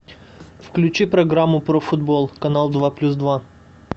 включи программу про футбол канал два плюс два